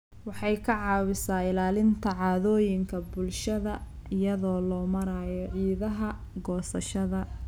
Waxay ka caawisaa ilaalinta caadooyinka bulshada iyada oo loo marayo ciidaha goosashada.